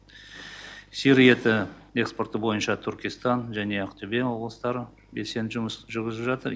сиыр еті экспорты бойынша түркістан және ақтөбе облыстары белсенді жұмыс жүргізіп жатыр